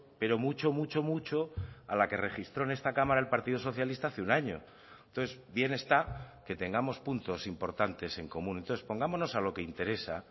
pero mucho mucho mucho a la que registró en esta cámara el partido socialista hace un año entonces bien está que tengamos puntos importantes en común entonces pongámonos a lo que interesa